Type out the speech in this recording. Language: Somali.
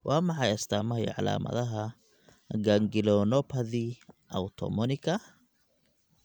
Waa maxay astamaha iyo calaamadaha ganglionopathy autoimmunika autonomika ganglionopathy?